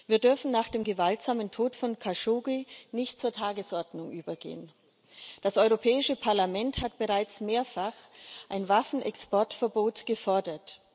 Wir dürfen nach dem gewaltsamen Tod von Khashoggi nicht zur Tagesordnung übergehen. Das Europäische Parlament hat bereits mehrfach ein Waffenexportverbot gefordert.